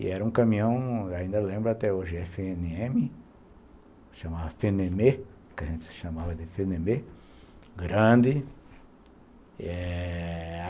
E era um caminhão, ainda lembro até hoje, efe ene eme, chamava, que a gente chamava de, grande, eh...